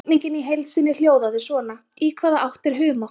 Spurningin í heild sinni hljóðaði svona: Í hvaða átt er humátt?